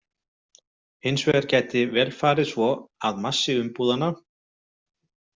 Hins vegar gæti vel farið svo að massi umbúðanna.